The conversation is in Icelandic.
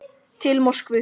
Til Moskvu